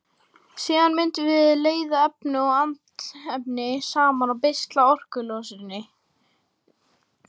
Síðan mundum við leiða efni og andefni saman og beisla orkulosunina.